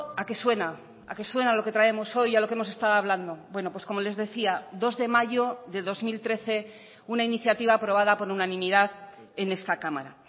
a qué suena a qué suena lo que traemos hoy a lo que hemos estado hablando bueno como les decía dos de mayo de dos mil trece una iniciativa aprobada por unanimidad en esta cámara